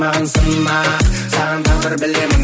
маған сынақ саған тағдыр білемін